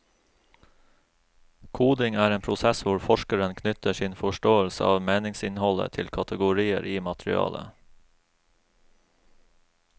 Koding er en prosess hvor forskeren knytter sin forståelse av meningsinnholdet til kategorier i materialet.